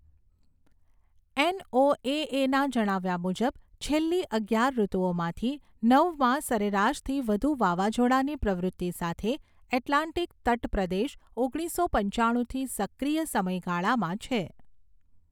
એનઓએએના જણાવ્યા મુજબ, છેલ્લી અગિયાર ઋતુઓમાંથી નવમાં સરેરાશથી વધુ વાવાઝોડાની પ્રવૃત્તિ સાથે, એટલાન્ટિક તટપ્રદેશ ઓગણીસો પંચાણુંથી સક્રિય સમયગાળામાં છે.